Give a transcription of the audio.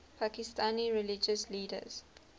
pakistani religious leaders